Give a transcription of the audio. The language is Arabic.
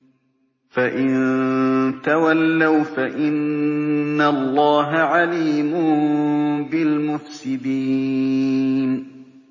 فَإِن تَوَلَّوْا فَإِنَّ اللَّهَ عَلِيمٌ بِالْمُفْسِدِينَ